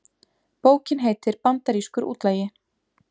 Bókin heitir Bandarískur útlagi